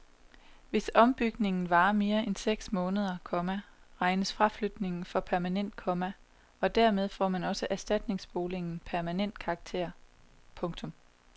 Hvis ombygningen varer mere end seks måneder, komma regnes fraflytningen for permanent, komma og dermed får også erstatningsboligen permanent karakter. punktum